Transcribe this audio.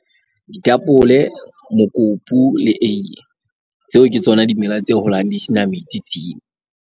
Ditapole, mokopu le eiye, tseo ke tsona dimela tse holang di sena metsi .